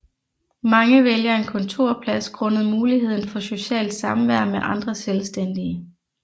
Mange vælger en kontorplads grundet muligheden for socialt samvær med andre selvstændige